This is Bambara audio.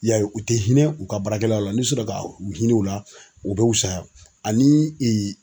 I y'a ye u tɛ hinɛ u ka baarakɛlaw la ni u sera ka u hinɛ u la u bɛ wusaya ani